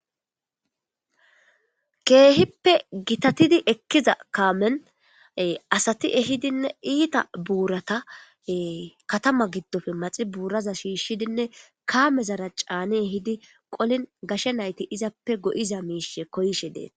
Keehippe gitatidi ekkiza kaamen asati ehidinne iita buurata katama giddofe maxi buuraza shiishidinne kaame zara caani hidi qolin gashe nayti izappe go'iza miishe koyshe deeta.